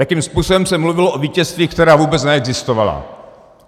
Jakým způsobem se mluvilo o vítězstvích, která vůbec neexistovala.